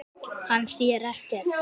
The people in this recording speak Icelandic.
Hann sér ekkert.